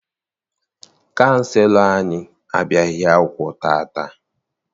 Kaụnselọ anyị abịaghị akwụkwọ taata.